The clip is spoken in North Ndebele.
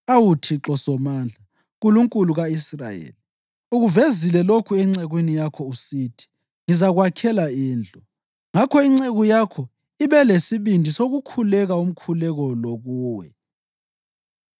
Awu Thixo Somandla, Nkulunkulu ka-Israyeli, ukuvezile lokhu encekwini yakho usithi, ‘Ngizakwakhela indlu.’ Ngakho inceku yakho ibe lesibindi sokukhuleka umkhuleko lo kuwe.